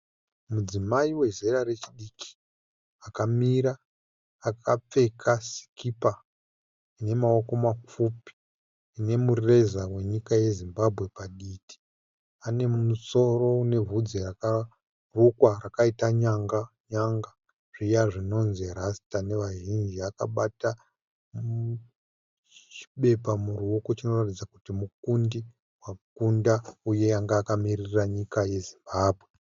Mudzimai wezera rechidiki akamira akapfeka sikipa ine maoko mapfupi inemureza wenyika ye Zimbabwe paditi, ane musoro une bvudzi rakarukwa rakaita nyanga nyanga zviya zvinonzi rasta nevazhinji akabata chibepa muruoko chinoratidza kuti mukundi wakunda uye anga akamirira nyika yeZimbabwe.